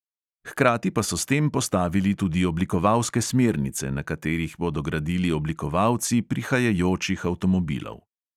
Hkrati pa so s tem postavili tudi oblikovalske smernice, na katerih bodo gradili oblikovalci prihajajočih avtomobilov.